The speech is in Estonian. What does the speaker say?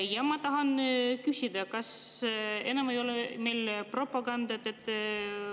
Ja ma tahan küsida: kas enam ei ole meil propagandat?